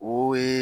O ye